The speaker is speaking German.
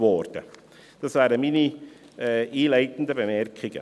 Dies wären meine einleitenden Bemerkungen.